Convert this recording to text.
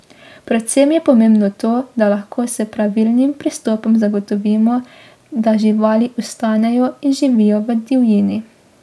Predvsem je pomembno to, da lahko s pravilnim pristopom zagotovimo, da živali ostanejo in živijo v divjini.